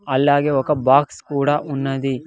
అలాగే ఒక బాక్స్ కూడా ఉన్నది.